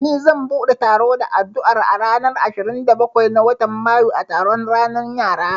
Ni zan bude taro da addu'a a ranar ashirin da bakwai na watan mayu a taron ranan yara